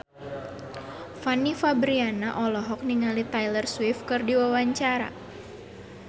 Fanny Fabriana olohok ningali Taylor Swift keur diwawancara